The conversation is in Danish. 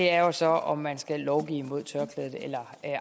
er jo så om man skal lovgive imod tørklædet eller